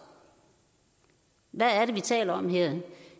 hvad det er vi taler om her